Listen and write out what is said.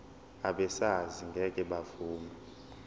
abesars ngeke bavuma